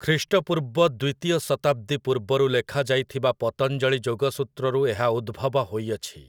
ଖ୍ରୀଷ୍ଟପୂର୍ବ ଦ୍ୱିତୀୟ ଶତାବ୍ଦୀ ପୂର୍ବରୁ ଲେଖାଯାଇଥିବା ପତଞ୍ଜଳୀ ଯୋଗସୂତ୍ରରୁ ଏହା ଉଦ୍ଭବ ହୋଇଅଛି ।